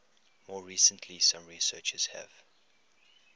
more recently some researchers have